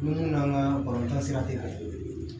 Minnu n'an ka balota sira tɛ